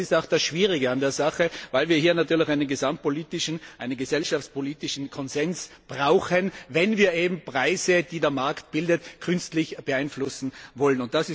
Aber das ist auch das Schwierige an der Sache, weil wir hier natürlich einen gesamtpolitischen, einen gesellschaftspolitischen Konsens brauchen, wenn wir eben Preise, die der Markt bildet, künstlich beeinflussen wollen.